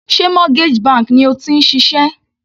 Sé mortgage bank ni o ti ń ṣiṣẹ́?